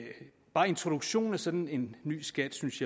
bare introduktionen af sådan en ny skat synes